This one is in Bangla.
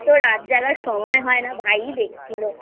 তো রাত জাগার সময় হয় না ভাই দেখছিল